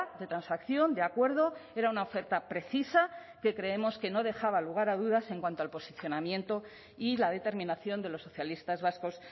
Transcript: de transacción de acuerdo era una oferta precisa que creemos que no dejaba lugar a dudas en cuanto al posicionamiento y la determinación de los socialistas vascos